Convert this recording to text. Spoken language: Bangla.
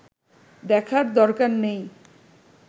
দেখার দরকার নেই